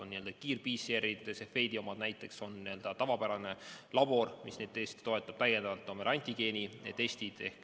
On n‑ö kiir‑PCR-id, need, mida tavapärane labor teostab, täiendavalt on veel antigeenitestid.